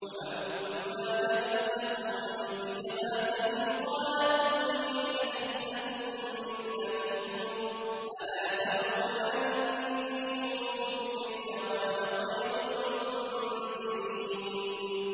وَلَمَّا جَهَّزَهُم بِجَهَازِهِمْ قَالَ ائْتُونِي بِأَخٍ لَّكُم مِّنْ أَبِيكُمْ ۚ أَلَا تَرَوْنَ أَنِّي أُوفِي الْكَيْلَ وَأَنَا خَيْرُ الْمُنزِلِينَ